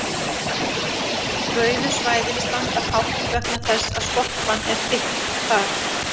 rauðu svæðin standa hátt vegna þess að skorpan er þykk þar